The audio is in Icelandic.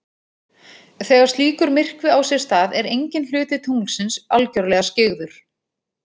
Þegar slíkur myrkvi á sér stað er enginn hluti tunglsins algjörlega skyggður.